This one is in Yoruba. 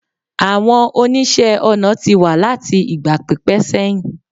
àwọn oníṣe ọnà ti wa lati igba pipẹ seyin